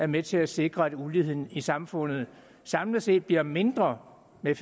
med til at sikre at uligheden i samfundet samlet set bliver mindre med